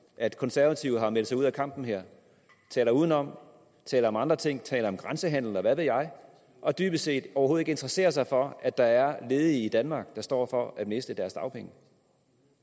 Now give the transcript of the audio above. at konservative har meldt sig ud af kampen her taler udenom taler om andre ting taler om grænsehandel og hvad ved jeg og dybest set overhovedet ikke interesserer sig for at der er ledige i danmark der står for at miste deres dagpenge